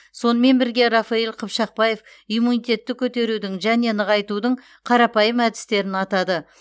сонымен бірге рафаэль қыпшақбаев иммунитетті көтерудің және нығайтудың қарапайым әдістерін атады